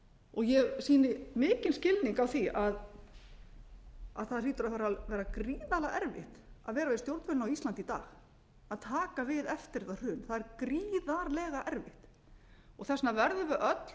og ég sýni mikinn skilning á því að það hlýtur að vera gríðarlega erfitt að vera við stjórnvölinn á íslandi í dag að taka við eftir þetta hrun það er gríðarlega erfitt þess vegna verðum við öll